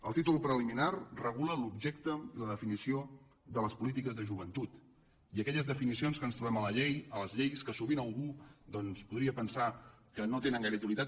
el títol preliminar regula l’objecte i la definició de les polítiques de joventut i aquelles definicions que ens trobem a les lleis que sovint algú doncs podria pensar que no tenen gaire utilitat